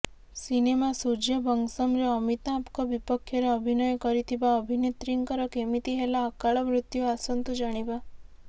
cinema ସୂର୍ଯ୍ୟବଂଶମରେ ଅମିତାଭଙ୍କ ବିପକ୍ଷରେ ଅଭିନୟ କରିଥିବା ଅଭିନେତ୍ରୀଙ୍କର କେମିତି ହେଲା ଅକାଳମୃତ୍ୟୁ ଆସନ୍ତୁ ଜାଣିବା